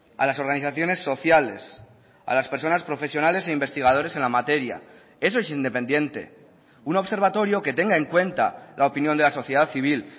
a las organizaciones sociales a las personas profesionales e investigadores en la materia eso es independiente un observatorio que tenga en cuenta la opinión de la sociedad civil